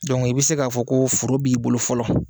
Dɔnku, i bɛ se k'a fɔ ko foro b'i bolo fɔlɔ